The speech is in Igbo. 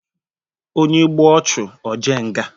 Onye gbuo ọchụ ojee nga.